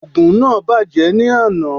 Ògùn náà bàjẹ́ ní àná